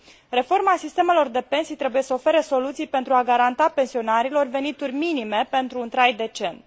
Reforma sistemelor de pensii trebuie să ofere soluții pentru a garanta pensionarilor venituri minime pentru un trai decent.